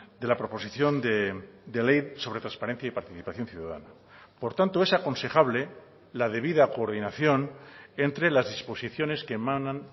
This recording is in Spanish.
de la proposición de ley sobre transparencia y participación ciudadana por tanto es aconsejable la debida coordinación entre las exposiciones que emanan